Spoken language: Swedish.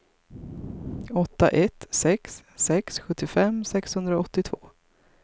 åtta ett sex sex sjuttiofem sexhundraåttiotvå